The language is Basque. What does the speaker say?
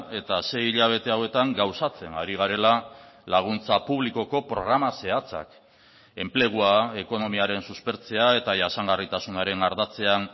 eta sei hilabete hauetan gauzatzen ari garela laguntza publikoko programa zehatzak enplegua ekonomiaren suspertzea eta jasangarritasunaren ardatzean